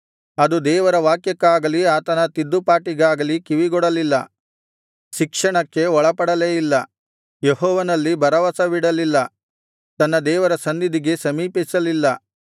ಅದು ದೇವರ ವಾಕ್ಯಕ್ಕಾಗಲೀ ಆತನ ತಿದ್ದುಪಾಟಿಗಾಗಲಿ ಕಿವಿಗೊಡಲಿಲ್ಲ ಶಿಕ್ಷಣಕ್ಕೆ ಒಳಪಡಲೇ ಇಲ್ಲ ಯೆಹೋವನಲ್ಲಿ ಭರವಸವಿಡಲಿಲ್ಲ ತನ್ನ ದೇವರ ಸನ್ನಿಧಿಗೆ ಸಮೀಪಿಸಲಿಲ್ಲ